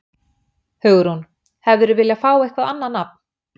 Hugrún: Hefðirðu viljað fá eitthvað annað nafn?